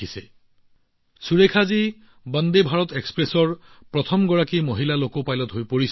আন এক অভিলেখ গঢ়ি সুৰেখাজী ও বন্দে ভাৰত এক্সপ্ৰেছৰ প্ৰথম গৰাকী মহিলা লোকো পাইলট হৈ পৰিছে